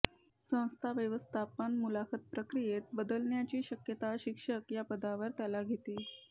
संस्था व्यवस्थापन मुलाखत प्रक्रियेत बदलण्याची शक्यता शिक्षक या पदावर त्याला घेते